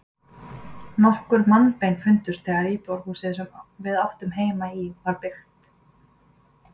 Nokkur mannabein fundust þegar íbúðarhúsið, sem við áttum heima í, var byggt.